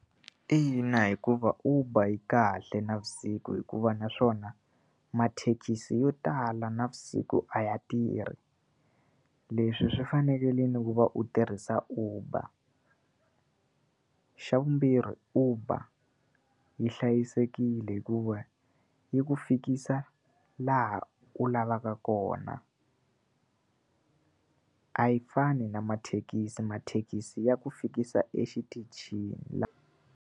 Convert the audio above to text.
Ina, hikuva Uber yi kahle navusiku hikuva naswona, mathekisi yo tala navusiku a ya tirhi leswi swi fanerile ku va u tirhisa Uber. Xa vumbirhi Uber yi hlayisekile hikuva yi ku fikisa laha u lavaka kona. A yi fani na mathekisi, mathekisi ya ku fikisa exitichini .